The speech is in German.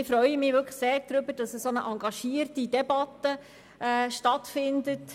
Ich freue mich sehr, dass eine so engagierte Debatte stattfindet.